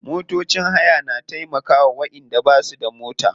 Motocin haya na taimkawa wayanda basu da mota.